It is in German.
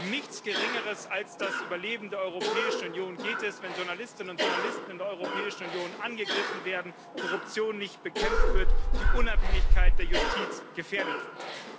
Um nichts Geringeres als das Überleben der Europäischen Union geht es, wenn Journalistinnen und Journalisten in der Europäischen Union angegriffen werden, Korruption nicht bekämpft wird, die Unabhängigkeit der Justiz gefährdet wird.